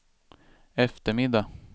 eftermiddag